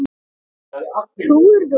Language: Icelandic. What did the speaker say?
Trúirðu honum?